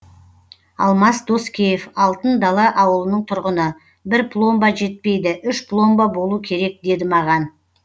алмас доскеев алтын дала ауылының тұрғыны бір пломба жетпейді үш пломба болу керек деді маған